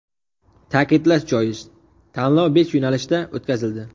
Ta’kidlash joiz, tanlov besh yo‘nalishda o‘tkazildi .